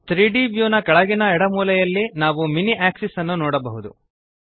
3ದ್ ವ್ಯೂ ದ ಕೆಳಗಿನ ಎಡ ಮೂಲೆಯಲ್ಲಿ ನಾವು ಮಿನಿ ಆಕ್ಸಿಸ್ ಅನ್ನು ನೋಡಬಹುದು